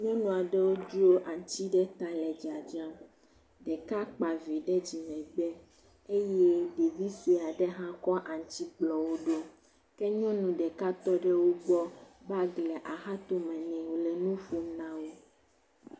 Nyɔnu aɖewo dzro aŋuti ɖe ta le dzadzram. Ɖeka kpa vi ɖe dzimegbe eye ɖevi sue aɖe hã kɔ aŋuti kplɔ wo ɖo. Nyɔnu ɖeka tɔ ɖe wo gbɔ, bagi le axatome nɛ wole nu ƒom na wo.